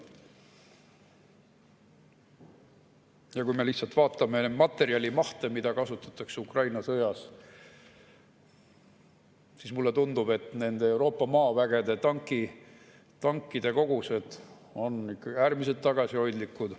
Ja kui me lihtsalt vaatame materjali mahte, mida kasutatakse Ukraina sõjas, siis mulle tundub, et nende Euroopa maavägede tankide kogused on äärmiselt tagasihoidlikud.